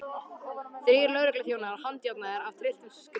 Þrír lögregluþjónar handjárnaðir af trylltum skríl.